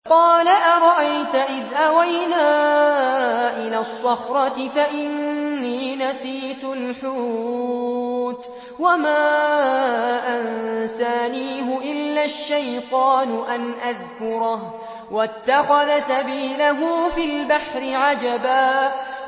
قَالَ أَرَأَيْتَ إِذْ أَوَيْنَا إِلَى الصَّخْرَةِ فَإِنِّي نَسِيتُ الْحُوتَ وَمَا أَنسَانِيهُ إِلَّا الشَّيْطَانُ أَنْ أَذْكُرَهُ ۚ وَاتَّخَذَ سَبِيلَهُ فِي الْبَحْرِ عَجَبًا